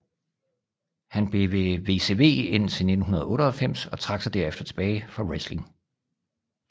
Han blev ved WCW indtil 1998 og trak sig derefter tilbage fra wrestling